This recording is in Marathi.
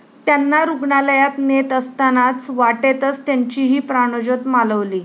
त्यांना रूग्णालयात नेत असतानाच वाटेतच त्यांचीही प्राणज्योत मालवली.